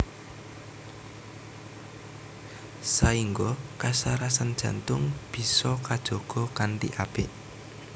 Saéngga kasarasan jantung bisa kajaga kanthi apik